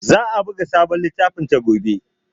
Za a buga sabon littafinta gobe.